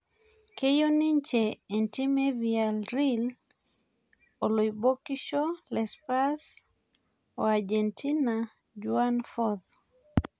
Keyiu ninje entim e villareal oloibokisho le spurs o agentina Juan Forth